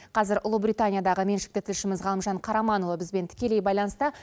қазір ұлыбританиядағы меншікті тілшіміз ғалымжан қараманұлы бізбен тікелей байланыста